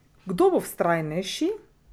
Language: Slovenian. Kdo bo vztrajnejši?